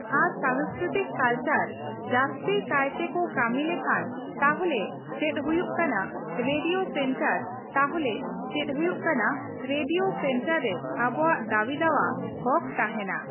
ᱟᱨ ᱥᱟᱝᱥᱠᱨᱤᱛᱤᱠ ᱠᱟᱞᱪᱟᱨ ᱡᱟᱹᱥᱛᱤ ᱠᱟᱭᱛᱮ ᱠᱚ ᱠᱟᱹᱢᱤ ᱞᱮᱠᱷᱟᱱ ᱛᱟᱦᱞᱮ ᱪᱮᱫ ᱦᱩᱭᱩᱜ ᱠᱟᱱᱟ ᱨᱮᱰᱤᱭᱳ ᱥᱮᱱᱴᱟᱨ ᱛᱟᱦᱞᱮ ᱪᱮᱫ ᱦᱩᱭᱩᱜ ᱠᱟᱱᱟ ᱨᱮᱰᱤᱭᱳ ᱥᱮᱱᱴᱟᱨ ᱨᱮ ᱟᱵᱚᱣᱟᱜ ᱫᱟᱹᱵᱤ ᱫᱟᱣᱟ ᱦᱚᱠ ᱛᱟᱦᱮᱱᱟ